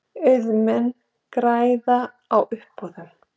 Auðmenn græða á uppboðum